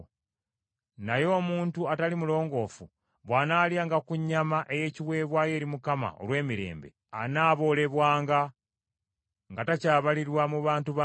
Naye omuntu atali mulongoofu bw’anaalyanga ku nnyama ey’ekiweebwayo eri Mukama olw’emirembe, anaaboolebwanga nga takyabalirwa mu bantu be.